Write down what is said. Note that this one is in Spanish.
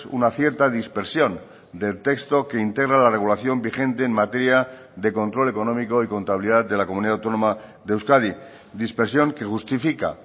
una cierta dispersión del texto que integra la regulación vigente en materia de control económico y contabilidad de la comunidad autónoma de euskadi dispersión que justifica